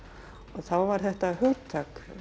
þá var þetta hugtak í